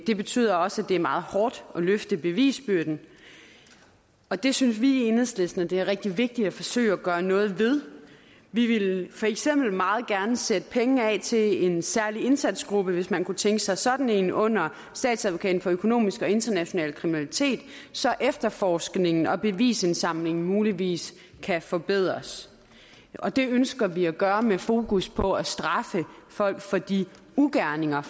det betyder også at det er meget hårdt at løfte bevisbyrden og det synes vi i enhedslisten er rigtig vigtigt at forsøge at gøre noget ved vi vil for eksempel meget gerne sætte penge af til en særlig indsatsgruppe hvis man kunne tænke sig sådan en under statsadvokaten for særlig økonomisk og international kriminalitet så efterforskningen og bevisindsamlingen muligvis kan forbedres og det ønsker vi at gøre med fokus på at straffe folk for de ugerninger